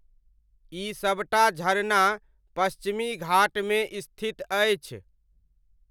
ई सभटा झरना पश्चिमी घाटमे स्थित अछि।